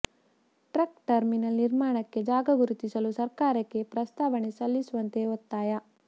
truck terminal ನಿರ್ಮಾಣಕ್ಕೆ ಜಾಗ ಗುರುತಿಸಲು ಸರ್ಕಾರಕ್ಕೆ ಪ್ರಸ್ತಾವನೆ ಸಲ್ಲಿಸುವಂತೆ ಒತ್ತಾಯ